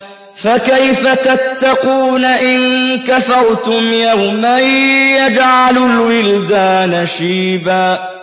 فَكَيْفَ تَتَّقُونَ إِن كَفَرْتُمْ يَوْمًا يَجْعَلُ الْوِلْدَانَ شِيبًا